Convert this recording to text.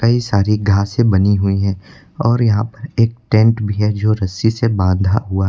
ये सारी घासें बनी हुई है और यहां पे एक टेंट भी है जो रस्सी से बांधा हुआ--